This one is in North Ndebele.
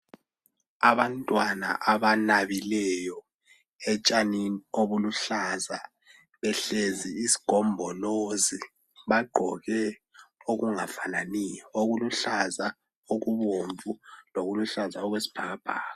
Abantwana abanabileyo etshanini obuluhlaza , behlezi isigombolozi bagqoke okungafananiyo okuluhlaza , olubomvu lokuluhlaza okwesibhakabhaka